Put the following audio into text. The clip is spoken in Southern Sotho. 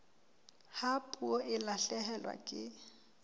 ha puo e lahlehelwa ke